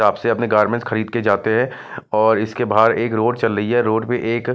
shop से अपने garments खरीद के जाते हैं और इसके बाहर एक रोड़ चल रही है रोड़ पे एक--